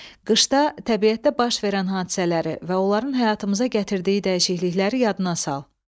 Qışda təbiətdə baş verən hadisələri və onların həyatımıza gətirdiyi dəyişiklikləri yadına sal.